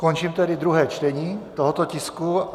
Končím tedy druhé čtení tohoto tisku.